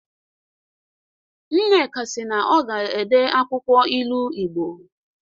Nneka si na ọ ga-ede akwụkwọ ilu Igbo